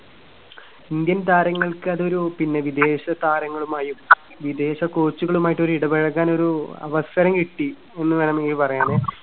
Indian താരങ്ങൾക്ക് അതൊരു പിന്നെ വിദേശ താരങ്ങളുമായും വിദേശ coach കളുമായിട്ട് ഒരു ഇടപഴകാൻ ഒരു അവസരം കിട്ടി എന്നുവേണമെങ്കിൽ പറയാമേ.